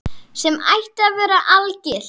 Sem ætti að vera algilt.